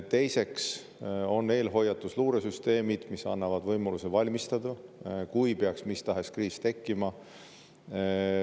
Teiseks, on olemas eelhoiatus‑ ja luuresüsteemid, mis annavad võimaluse valmistuda, kui peaks mis tahes kriis tekkima.